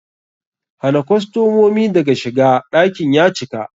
Hana kostomomi daga shiga, ɗakin ya cika!